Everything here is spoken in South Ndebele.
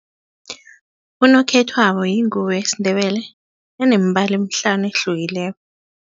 Unokhethwabo yingubo yesiNdebele enemibala emihlanu ehlukileko.